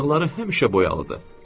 Dodaxları həmişə boyalıdır.